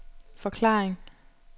forklaring